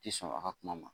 Ti sɔn a ka kuma ma